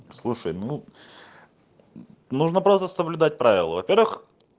слушай ну нужно просто соблюдать правила во-первых